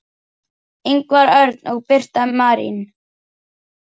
Ingvar Örn og Birna Marín.